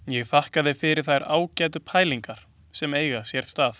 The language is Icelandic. Ég þakka fyrir þær ágætu pælingar sem eiga hér stað.